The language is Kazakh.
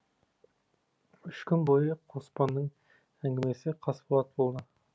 үш күн бойы қоспанның әңгімесі қасболат болды